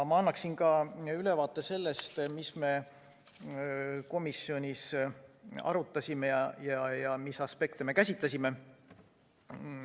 Ma annan ülevaate sellest, mida me komisjonis arutasime ja mis aspekte me käsitlesime.